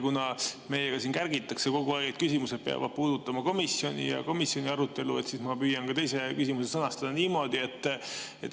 Kuna meiega siin kärgitakse kogu aeg, et küsimused peavad puudutama komisjoni ja komisjoni arutelu, siis ma püüan ka teise küsimuse niimoodi sõnastada.